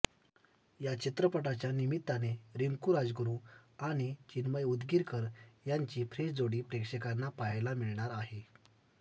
या चित्रपटाच्या निमित्ताने रिंकू राजगुरू आणि चिन्मय उद्गीरकर यांची फ्रेश जोडी प्रेक्षकांना पाहायला मिळणार आहे